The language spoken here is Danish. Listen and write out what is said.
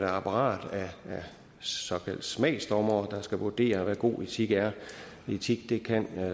apparat af såkaldt smagsdommere der skal vurdere hvad god etik er etik kan